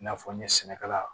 I n'a fɔ n ye sɛnɛkɛla